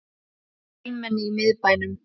Fjölmenni í miðbænum